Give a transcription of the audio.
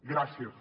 gràcies